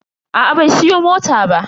Aa bai siya mota ba.